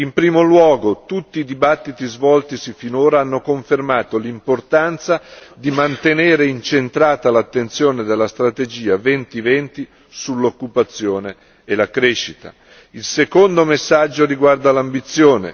In primo luogo, tutti i dibattiti svoltisi finora hanno confermato l'importanza di mantenere incentrata l'attenzione della strategia Europa 2020 sull'occupazione e la crescita. Il secondo messaggio riguarda l'ambizione.